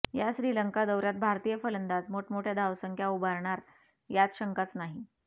या श्रीलंका दौऱ्यात भारतीय फलंदाज मोठमोठ्या धावसंख्या उभारणार यात शंकाच नाही